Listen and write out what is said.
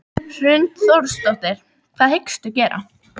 Hrund Þórsdóttir: Hvað hyggstu gera?